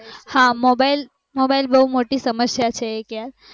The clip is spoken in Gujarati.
હા mobile-mobile બૌ મોટી સમસ્યા છે એક યાર